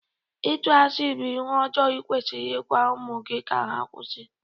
Itụ asị bụ ihe ọjọọ ikwesiri ịgwa ụmụ gị ka ha kwụsị.